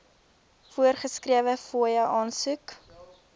voorgeskrewe fooie aansoek